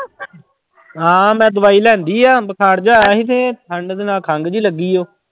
ਹਾਂ ਮੈਂ ਦਵਾਈ ਲਿਆਂਦੀ ਆ ਬੁਖਾਰ ਜਿਹਾ ਆਇਆ ਸੀ ਤੇ ਠੰਢ ਦੇ ਨਾਲ ਖੰਘ ਜਿਹੀ ਲੱਗੀ ਉਹ।